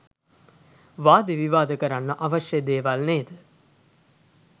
වාද විවාද කරන්න අවශ්‍ය දේවල් නේද?